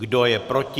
Kdo je proti?